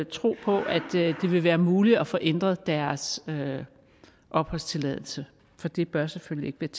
tro på at det ville være muligt at få ændret deres opholdstilladelse for det bør selvfølgelig ikke